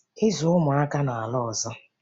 Ịzụ Ụmụaka n’ala ọzọ